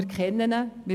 Wir kennen ihn.